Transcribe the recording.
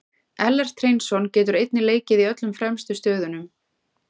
Ellert Hreinsson getur einnig leikið í öllum fremstu stöðunum.